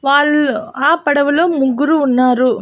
Wall ఆ పడవలో ముగ్గురు ఉన్నారు.